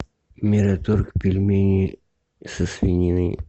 мираторг пельмени со свининой